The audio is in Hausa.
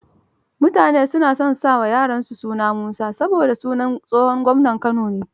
Mutane na son sa wa yara suna Musa, saboda sunan tsohon gwamnan Kano ne.